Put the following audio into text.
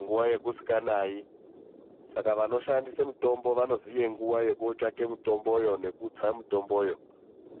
nguva yakusinganayi, saka vanoshandise mitombo vanoziva nguva yekuitsvaka mitombo yacho.